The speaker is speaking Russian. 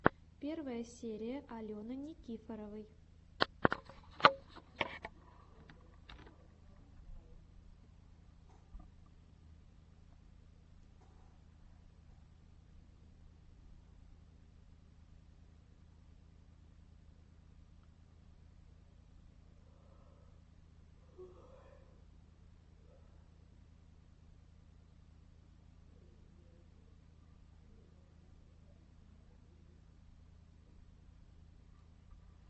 первая серия алены никифоровой